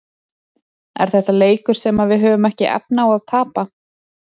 Er þetta leikur sem að við höfum ekki efni á að tapa?